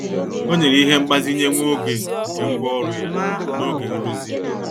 Ọ nyere ihe mgbazinye nwa oge nke ngwá ọrụ ya n'oge nrụzi.